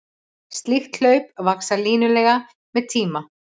Slík hlaup vaxa línulega með tíma.